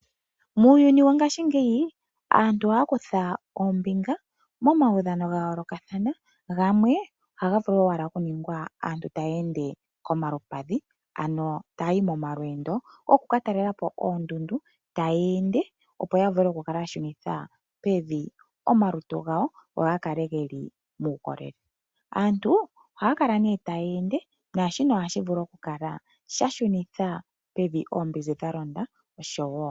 Muuyuni wongashingeyi aantu ohaya kutha ombinga momaudhano ga yoolokathana, gamwe ohaga vulu owala oku ningwa aantu taya ende koompadhi taya ende opo ya vule okù kala ya shunitha pevi omalutu gawo go ga kale gena uukolele. Aantu ohaya kala ta ende nohashi vulu okushunitha pevi oombinzi dha londa.